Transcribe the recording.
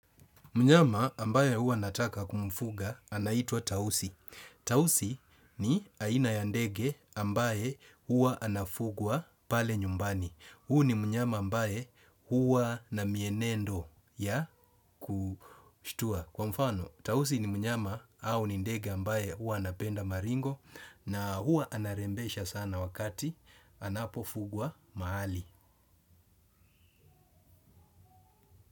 Mnyama ambaye hua nataka kumfuga anaitwa tausi. Tausi ni aina ya ndege ambaye huwa anafugwa pale nyumbani. Huyu ni mnyama ambaye hua na mienendo ya kushtua. Kwa mfano, tausi ni mnyama au ni ndege ambaye huwa anapenda maringo na huwa anarembesha sana wakati anapofugwa mahali.